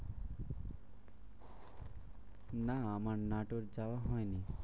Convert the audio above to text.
না আমার নাটোর যাওয়া হয়নি।